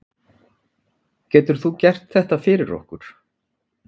Getur þú gert þetta fyrir okkur?